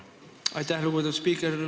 Aitäh, lugupeetud spiiker!